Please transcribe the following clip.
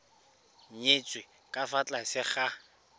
nyetswe ka fa tlase ga